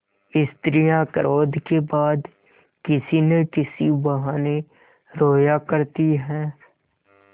स्त्रियॉँ क्रोध के बाद किसी न किसी बहाने रोया करती हैं